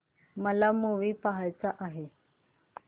मला मूवी पहायचा आहे